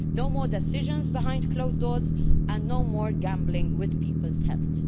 no more decisions behind closed doors and no more gambling with people's health.